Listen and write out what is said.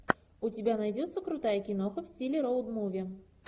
у тебя найдется крутая киноха в стиле роуд муви